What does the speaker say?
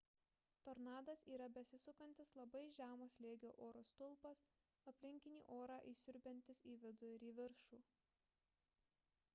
tornadas yra besisukantis labai žemo slėgio oro stulpas aplinkinį orą įsiurbiantis į vidų ir į viršų